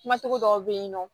Kumasigi dɔw be yen nɔ